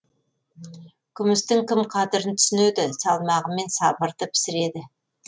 күмістің кім қадірін түсінеді салмағымен сабырды пісіреді